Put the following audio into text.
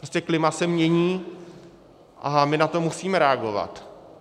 Prostě klima se mění a my na to musíme reagovat.